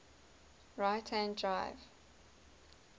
right hand drive